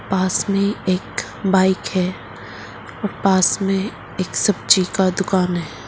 पास में एक बाइक है। एक सब्जी की दुकान है।